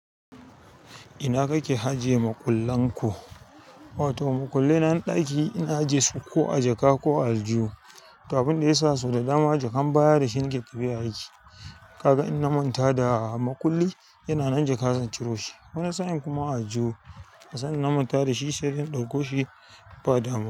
Ina kake ajiye makullan ku? Wato makullai na ɗaki ina ajiyesu ko a jaka ko a aljihu. To abinda yasa jakan baya sau da dama dashi nike tafiya gurin aiki kaga in na manta da makulli yana nan jaka zan ciro shi. Wani sa'in kuma a aljihu, asanda na manta da shi shari'in ɗauko shi ba damuwa.